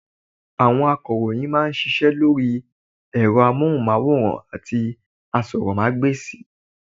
Àwọn akọ̀ròyìn mà a ń ṣiṣẹ́ lórí ẹ̀rọ amóhùnmáwòrán àti asọ́rọ́mágbèsì